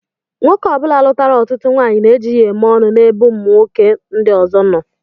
Nwoke ọbula lutara ọtụtụ nwaanyị na eji ya eme ọnụ na ebe nwoke ndi ọzọ nọ.